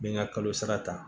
N bɛ n ka kalo sara ta